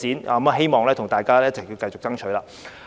我希望大家一同繼續爭取。